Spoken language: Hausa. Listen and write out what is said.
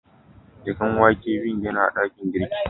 Jakan wake biyun yana a dakin girki.